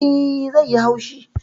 Eh. zai yi haushi